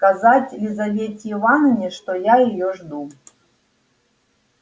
сказать лизавете ивановне что я её жду